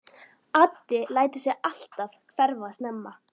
Addi lætur sig alltaf hverfa snemma.